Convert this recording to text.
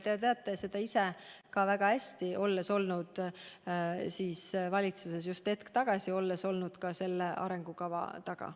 Te teate seda väga hästi, olles ise olnud hetk tagasi valitsuses ja olles olnud ka selle arengukava taga.